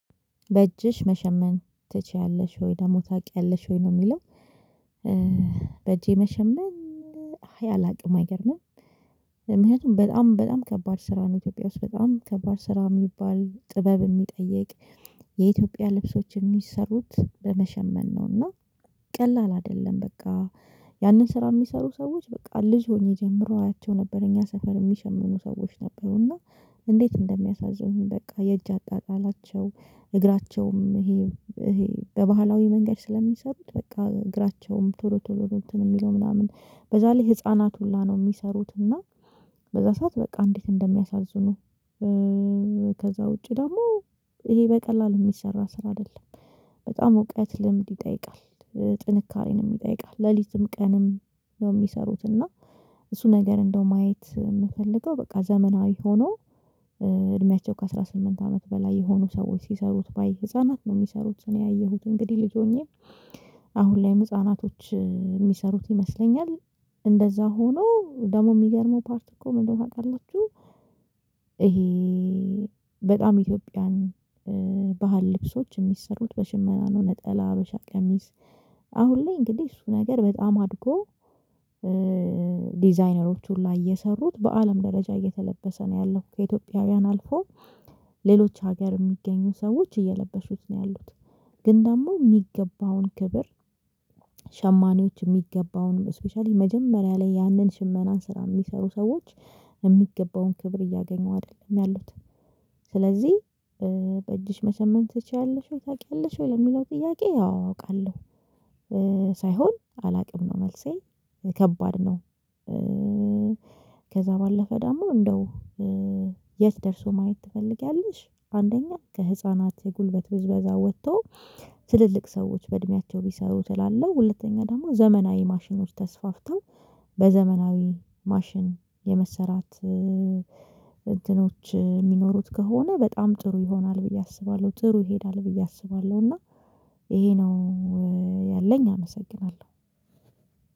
በእጅሽ መሸመን ትችያለሽ ወይ ደግሞ ታውቂያለሽ ወይ ነው የሚለው? በእጄ መሸመን አይ አላውቅም አይገርምም። ምክንያቱም በጣም በጣም ከባድ ስራ ነው ኢትዮጵያ ውስጥ በጣም ከባድ ስራ የሚባል ጥበብ የሚጠይቅ የኢትዮጵያ ልብሶች የሚሰሩት በመሸመን ነውና። ቀላል አይደለም በቃ ያንን ስራ የሚሰሩ ሰዎች በቃ ልጅ ሆኜ ጀምሮ አያቸው ነበረ እኛ ሰፈር የሚሸምኑ ሰዎች ነበሩ እና። እንዴት እንደሚያሳዝኑ በቃ የእጅ አጣጣላቸው እግራቸውም ይሄ በባህላዊ መንገድ ስለሚሰሩት በቃ እግራቸውም ቶሎ ቶሎ ነው እንትን የሚለው ምናምን በዛ ላይ ህፃናት ሁላ ነው የሚሰሩት እና በዛ ሰዓት በቃ እንዴት እንደሚያሳዝኑህ። ከዛ ውጪ ደግሞ ይሄ በቀላል የሚሰራ ስራ አይደለም። በጣም እውቀት ልምድ ይጠይቃል። ጥንካሬንም ይጠይቃል ሌሊትም ቀንም ነው የሚሰሩት እና እሱ ነገር እንደው ማየት የምፈልገው በቃ ዘመናዊ ሆኖ። እድሜያቸው ከአሥራ ስምንት አመት በላይ የሆኑ ሰዎች ሲሰሩት ባይ ህፃናት ነው የሚሰሩት እኔ ያየሁት እንግዲህ ልጅ ሆኜ አሁን ላይም ህፃናቶች የሚሰሩት ይመስለኛል። እንደዛ ሆኖ ደግሞ የሚገርመው ፓርት እኮ ምን እንደሆነ ታውቃላችሁ ይሄ? በጣም ኢትዮጵያን ባህል ልብሶች የሚሰሩት በሽመና ነው ነጠላ ሀበሻ ቀሚስ። አሁን ላይ እንግዲህ እሱ ነገር በጣም አድጎ ዲዛይነሮቹ ሁላ እየሰሩት በአለም ደረጃ እየተለበሰ ነው ያለፉት ከኢትዮጵያውያን አልፎ ሌሎች ሀገር የሚገኙ ሰዎች እየለበሱት ነው ያሉት። ግን ደግሞ የሚገባውን ክብር። ሸማኔዎች የሚገባውንም ስፔሻሊ መጀመሪያ ላይ ያንን ሽመና ስራ የሚሰሩ ሰዎች የሚገባውን ክብር እያገኙ አይደለም ያሉት። ስለዚህ በእጅሽ መሸመን ትችያለሽው ታቅያለሽ ወይ ለሚለው ጥያቄ? አዎ አቃለሁ። ሳይሆን አላውቅም ነው መልሴ ከባድ ነው። ከዛ ባለፈ ዳሞ እንደው የት ደርሶ ማየት ትፈልጊያለሽ? አንደኛ ከህፃናት የጉልበት ብዝበዛ ወጥቶ። ትልልቅ ሰዎች በእድሜያቸው ቢሰሩት እላለህ ሁለተኛ ደግሞ ዘመናዊ ማሽኖች ተስፋፍተው በዘመናዊ ማሽን የመሰራት እንትኖች የሚኖሩት ከሆነ በጣም ጥሩ ይሆናል ብዬ አስባለሁ። ጥሩ ይሄዳል ብዬ አስባለሁ። እና ይሄ ነው ያለኝ አመሰግናለሁ።